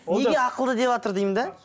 неге ақылды деватыр деймін де